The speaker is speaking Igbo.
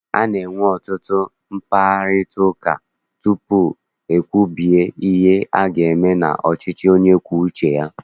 A na-enwe ọtụtụ mkparịtaụka tutu ekwubie ihe aga eme n'ọchịchị onye kwue uche ya.